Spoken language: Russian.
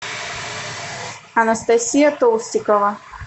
анастасия толстикова